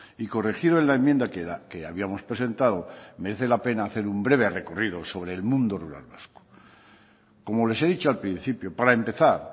y corregido en la enmienda que habíamos presentado merece la pena hacer un breve recorrido sobre el mundo rural vasco como les he dicho al principio para empezar